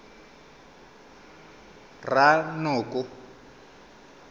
ranoko